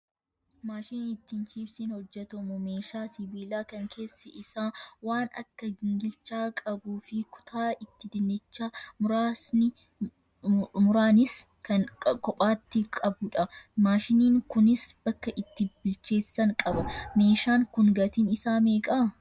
Maashiniin ittiin chiipsiin hojjatamu meeshaa sibiilaa kan keessi isaa waan akka gingilchaa qabuu fi kutaa itti dinnicha muranis kan kophaatti qabudha. Maashiniin kunis bakka itti bilcheessan qaba. Meeshaan kun gatiin isaa meeqa?